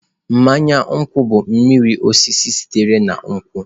Mmanya nkwu bụ mmiri osisi sitere na nkwụ.